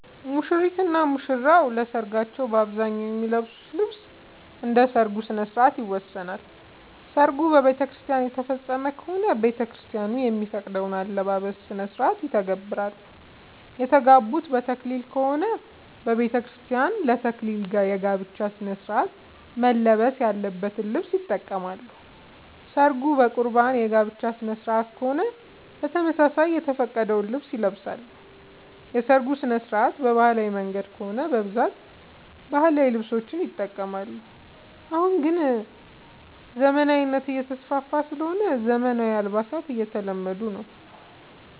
ሙሽሪት እና ሙሽራ ለሰርካቸው በአብዛኛው የሚለብሱት ልብስ እንደ ሠርጉ ስነስርዓት ይወሰናል። ሰርጉ በቤተክርስቲያን የተፈፀመ ከሆነ ቤተክርስቲያን የሚፈቅደውን የአለባበስ ስነስርዓት ይተገብራሉ። የተጋቡት በተክሊል ከሆነ በቤተክርስቲያን ለ ተክሊል የጋብቻ ስነስርዓት መልበስ ያለበትን ልብስ ይጠቀማሉ። ሰርጉ በቁርባን የጋብቻ ስነስርዓት ከሆነም በተመሳሳይ የተፈቀደውን ልብስ ይለብሳሉ። የሰርጉ ስነስርዓት በባህላዊ መንገድ ከሆነ በብዛት ባህላዊ ልብሶችን ይጠቀማሉ። አሁን ላይ ግን ዘመናዊነት እየተስፋፋ ስለሆነ ዘመናዊ አልባሳት እየተለመደ ነው።